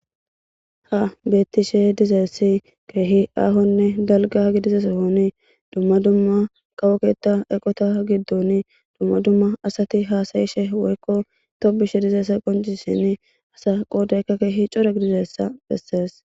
ha bettishe dizeessi keehi aahonne dalga gidiza sohoni dumma dumma qawoketa eqota giddoni dumma dumma asati haasayishe woykko tobishe dizeessa qoncisini asa qoodeykka keehi cora gidizessa bessees